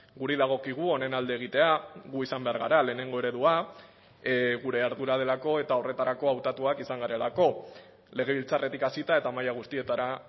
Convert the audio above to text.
guri dagokigu honen alde egitea gu izan behar gara lehenengo eredua gure ardura delako eta horretarako hautatuak izan garelako legebiltzarretik hasita eta maila guztietara